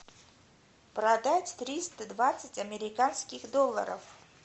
продать триста двадцать американских долларов